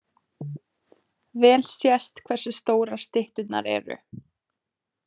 Vel sést hversu stórar stytturnar eru.